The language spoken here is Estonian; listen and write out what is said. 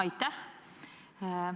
Aitäh!